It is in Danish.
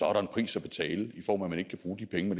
er der en pris at betale i form af at man ikke kan bruge de penge